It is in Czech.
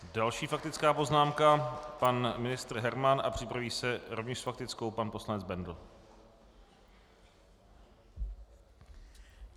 Další faktická poznámka - pan ministr Herman a připraví se rovněž s faktickou pan poslanec Bendl.